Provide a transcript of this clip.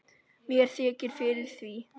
Mér þykir fyrir því.